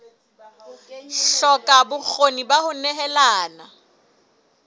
hloka bokgoni ba ho nehelana